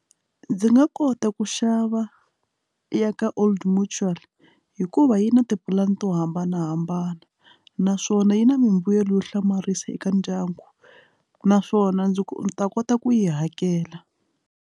Ndzi nga kota ku xava ya ka old mutual hikuva yi na tipulani to hambanahambana naswona yi na mimbuyelo yo hlamarisa eka ndyangu naswona ndzi ta kota ku yi hakela.